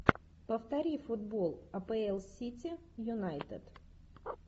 повтори футбол апл сити юнайтед